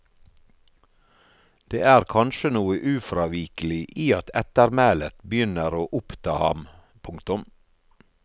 Det er kanskje noe ufravikelig i at ettermælet begynner å oppta ham. punktum